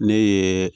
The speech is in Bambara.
Ne ye